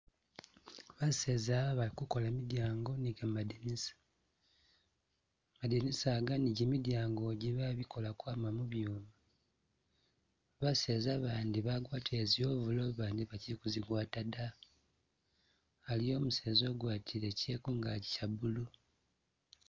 Baseza bali kukola midyango ni gamadinisa, madinisa iga ni gimidyango igi bagikola ukwama mu byuma, baseza bandi bagwatile zi overall bandi bakyili kuzigwata da, aliwo umuseza ugwatile kye kungagi kya blue.